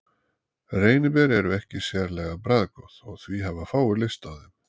Reyniber eru ekki sérlega bragðgóð og því hafa fáir lyst á þeim.